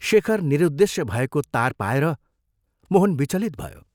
शेखर निरुदेश्य भएको तार पाएर मोहन विचलित भयो।